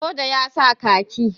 soja ya sa kaki